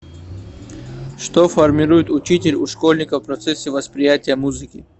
что формирует учитель у школьников в процессе восприятия музыки